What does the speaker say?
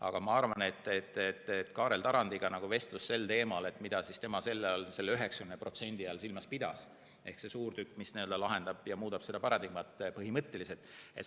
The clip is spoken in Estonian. Aga ma arvan, et Kaarel Tarandiga vestlus sel teemal, mida tema selle 90% all silmas pidas, ehk mis on see suur tükk, mis muudab seda paradigmat põhimõtteliselt.